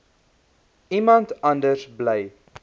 iemand anders bly